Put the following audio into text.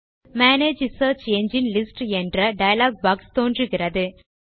manage search engine list என்ற dialog box தோன்றுகிறது